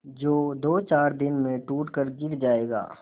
जो दोचार दिन में टूट कर गिर जाएगा